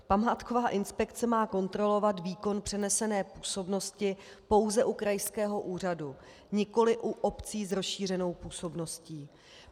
Památková inspekce má kontrolovat výkon přenesené působnosti pouze u krajského úřadu, nikoliv u obcí s rozšířenou působností.